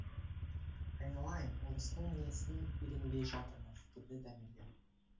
айналайын орыстың несін үйренбей жатырмыз деді дәмелі